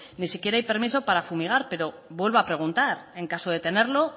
ni siquiera hay permiso para fumigar pero vuelvo a preguntar en caso de tenerlo